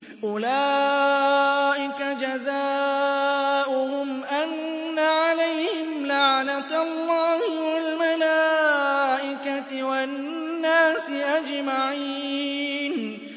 أُولَٰئِكَ جَزَاؤُهُمْ أَنَّ عَلَيْهِمْ لَعْنَةَ اللَّهِ وَالْمَلَائِكَةِ وَالنَّاسِ أَجْمَعِينَ